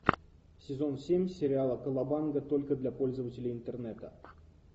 сезон семь сериала колобанга только для пользователей интернета